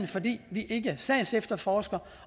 fordi vi ikke sagsefterforsker